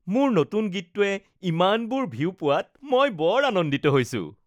মোৰ নতুন গীতটোৱে ইমানবোৰ ভিউ পোৱাত মই বৰ আনন্দিত হৈছো